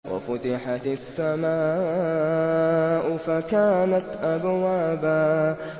وَفُتِحَتِ السَّمَاءُ فَكَانَتْ أَبْوَابًا